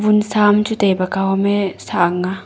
e thamchu taibak kawme sah ang aa.